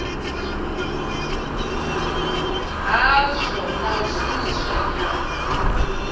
hazwo na u shumisa nyambo